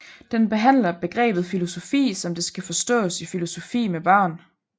Den behandler begrebet filosofi som det skal forstås i filosofi med børn